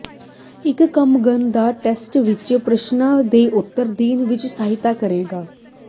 ਇੱਕ ਕ੍ਰਮਗਣ ਦਾ ਟੈਸਟ ਇਸ ਪ੍ਰਸ਼ਨਾਂ ਦੇ ਉੱਤਰ ਦੇਣ ਵਿੱਚ ਸਹਾਇਤਾ ਕਰੇਗਾ